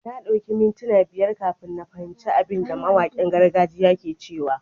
Na dauki ni mintuna biyar kafin na fahimci abin da mawakin gargajiya ke cewa.